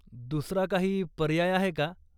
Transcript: दुसरा काही पर्याय आहे का?